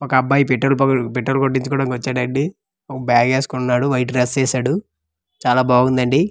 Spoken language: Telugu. ఒక అబ్బాయి పెట్రోల్ పెట్రోల్ కొట్టిచ్చుకోవడానికి వచ్చాడండి ఒక బ్యాగ్ ఏసుకొని ఉన్నాడు వైట్ డ్రస్ వేసాడు చాలా బాగుందండీ.